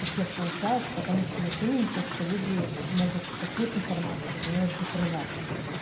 у всех получалось потому что вот именно то что люди могут какую-то информацию умеют закрывать